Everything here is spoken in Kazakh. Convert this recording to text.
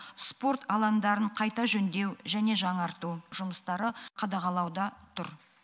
спорт алаңдарын қайта жөндеу және жаңарту жұмыстары қадағалауда тұр